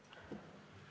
Istungi lõpp kell 12.50.